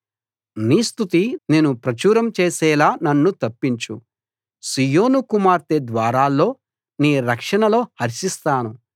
నీ స్తుతి నేను ప్రచురం చేసేలా నన్ను తప్పించు సీయోను కుమార్తె ద్వారాల్లో నీ రక్షణలో హర్షిస్తాను